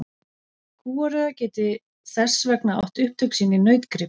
Kúariða gæti þess vegna átt upptök sín í nautgrip.